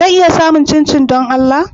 Zan iya samun chinchin don Allah?